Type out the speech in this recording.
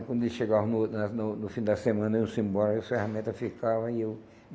E quando eles chegavam no ou na no no fim da semana e iam-se embora, e as ferramenta ficava e eu.